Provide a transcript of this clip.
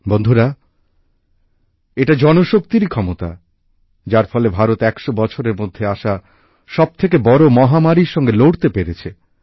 বন্ধুরা এটা জনশক্তিরই ক্ষমতা যার ফলে ভারত একশো বছরের মধ্যে আসা সবথেকে বড় মহামারীর বিরুদ্ধে লড়তে পেরেছে